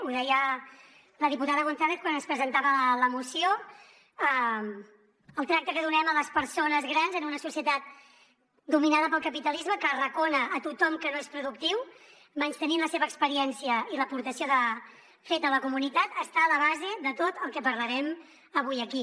ho deia la diputada gonzález quan ens presentava la moció el tracte que donem a les persones grans en una societat dominada pel capitalisme que arracona a tothom que no és productiu menystenint la seva experiència i l’aportació feta a la comunitat està a la base de tot el que parlarem avui aquí